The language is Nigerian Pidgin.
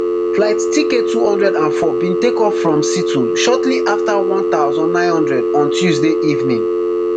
flight tktwo hundred and four bin take off from seattle shortly afta one thousand, nine hundred on tuesday evening